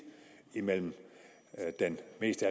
mellem den mest